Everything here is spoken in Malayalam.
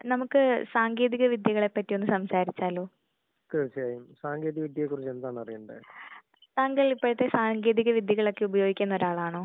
നമുക്ക് സാങ്കേതിക വിദ്യകളെ പറ്റി ഒന്ന് സംസാരിച്ചാലോ? തീർച്ചയായും. സാങ്കേതിക വിദ്യയേ കുറിച്ച് എന്താണ് അറിയണ്ടേ? താങ്കൾ ഇപ്പൊഴത്തേ സാങ്കേതിക വിദ്യകൾ ഉപയോഗിക്കുന്ന ആളാണോ?